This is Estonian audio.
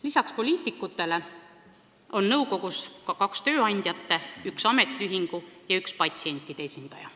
Lisaks poliitikutele peab nõukogus olema ka kaks tööandjate esindajat, üks ametiühingu ja üks patsientide esindaja.